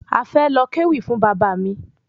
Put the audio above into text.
A fẹ lọ kéwì fún Bàbá mi